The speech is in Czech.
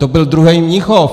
To byl druhý Mnichov!